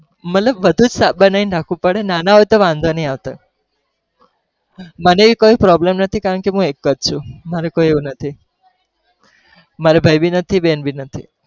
મતલબ બધું બનાવી ને રાખવું પડે નાના હોય તો વાંધો નહી આવતો, મને એવી કોઈ problem નથી કારણ કે હું એક જ છું મારે કોઈ નથી, મારે ભાઈ भी નથી, ને બેન भी નથી.